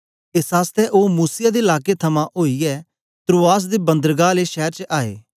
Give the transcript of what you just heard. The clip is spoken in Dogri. एस आसतै ओ मूसिया दे लाकें थमां ओईयै त्रोआस दे बंदरगाह आले शैर च आए